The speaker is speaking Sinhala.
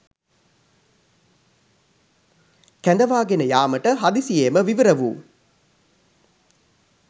කැඳවාගෙන යාමට හදිසියේම විවිර වූ